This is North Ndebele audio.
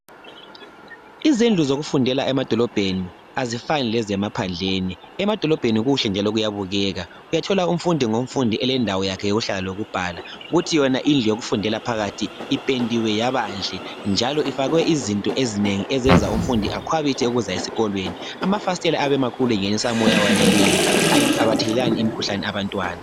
Izindlu zokufundela emadolobheni azifani lezemaphandleni. Emadolobheni kuhle njalo kuyabukeka. Uyathola umfundi ngomfundi elendawo yakhe yokuhlala lokubhala. Kuthi yona indlu yokufundela phakathi ipendiwe yabanhle njalo ifakwe izinto ezinengi ezenza umfundi akhwabithe ukuza esikolweni. Amafasitela ayabe emakhulu engenisa umoya oweneleyo. Abathelelani imikhuhlane abantwana.